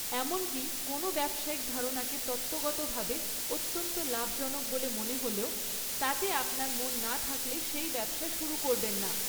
এমনকি কোনও ব্যবসায়িক ধারণাকে তত্ত্বগতভাবে অত্যন্ত লাভজনক বলে মনে হলেও, তাতে আপনার মন না থাকলে সেই ব্যবসা শুরু করবেন না।